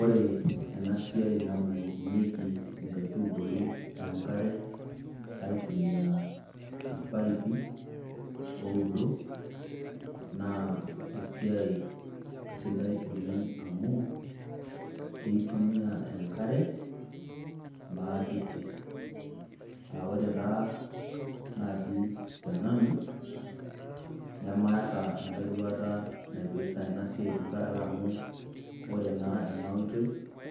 Ore enasiai nabukokinyeki inkaitubulu enkare aitumia irpaipi oudo, naa esiai sidai oleng amu, keitumia enkare, maakiti. Ah ore taa naji tenanu, namaata enkae duata naipirta enasiai tenkaraki amu ore naa enoitoi